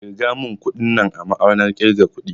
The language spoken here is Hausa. Ƙirga mun kuɗin nan a na'urar ƙirga kuɗi